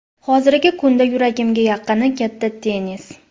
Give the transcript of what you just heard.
Hozirgi kunda yuragimga yaqini katta tennis.